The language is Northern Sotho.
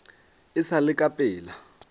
e sa le ka pela